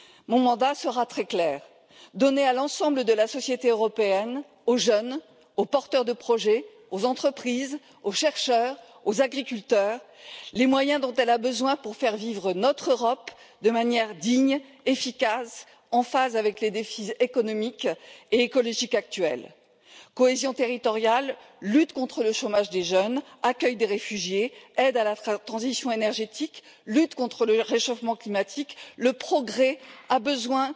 Mon mandat sera très clair donner à l'ensemble de la société européenne, aux jeunes, aux porteurs de projets, aux entreprises, aux chercheurs, aux agriculteurs, les moyens dont elle a besoin pour faire vivre notre Europe de manière digne, efficace, en phase avec les défis économiques et écologiques actuels. Cohésion territoriale, lutte contre le chômage des jeunes, accueil des réfugiés, aide à la transition énergétique, lutte contre le réchauffement climatique le progrès a besoin